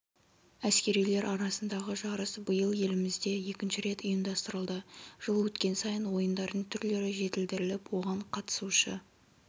әскерилер арасындағы жарыс биыл елімізде екінші рет ұйымдастырылды жыл өткен сайын ойындардың түрлері жетілдіріліп оған қатысушы